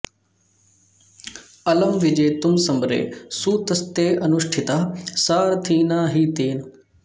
अलं विजेतुं समरे सुतस्ते अनुष्ठितः सारथिना हि तेन